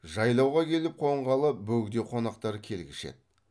жайлауға келіп қонғалы бөгде қонақтар келгіш еді